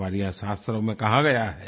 हमारे यहाँ शास्त्रों में कहा गया है